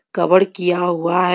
कवड़ किया हुआ है.